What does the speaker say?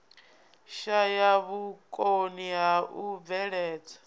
shaya vhukoni ha u bveledza